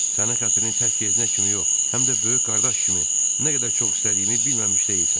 Sənin xətrini tək yeznə kimi yox, həm də böyük qardaş kimi nə qədər çox istədiyimi bilməmiş deyilsən.